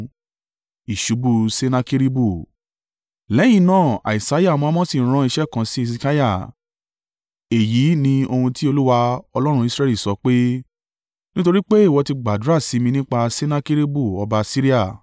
Lẹ́yìn náà Isaiah ọmọ Amosi rán iṣẹ́ kan sí Hesekiah: “Èyí ni ohun tí Olúwa, Ọlọ́run Israẹli sọ pé, nítorí pé ìwọ ti gbàdúrà sí mi nípa Sennakeribu ọba Asiria,